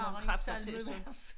Værre end salmevers